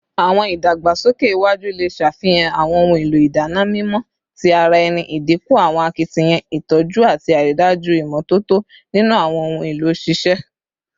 Awọn idagbasoke iwaju le ṣafihan awọn ohun elo idana mimọ ti ara ẹni, idinku awọn akitiyan itọju ati aridaju imototo ninu awọn ohun elo sise